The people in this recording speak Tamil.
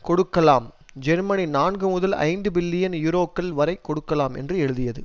கொடுக்கலாம் ஜெர்மனி நான்கு முதல் ஐந்து பில்லியன் யூரோக்கள் வரை கொடுக்கலாம் என்று எழுதியது